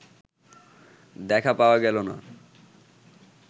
দেখা পাওয়া গেল না